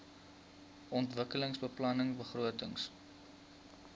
ontwikkelingsbeplanningbegrotings